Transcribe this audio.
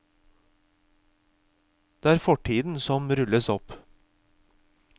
Det er fortiden som rulles opp.